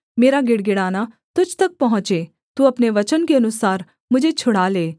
मेरा गिड़गिड़ाना तुझ तक पहुँचे तू अपने वचन के अनुसार मुझे छुड़ा ले